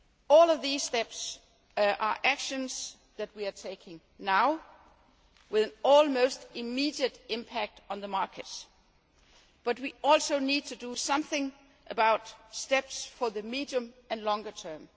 tool. All of these steps are actions that we are taking now with an almost immediate impact on the markets, but we also need to do something about steps for the medium and longer